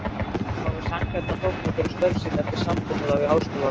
Nefndarmenn fái sanngjarna þóknun fyrir störf sín eftir samkomulagi við háskólaráð.